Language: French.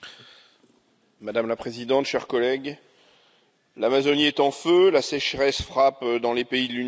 Madame la Présidente, chers collègues, l'Amazonie est en feu, la sécheresse frappe dans les pays de l'Union européenne.